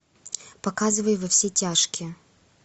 показывай во все тяжкие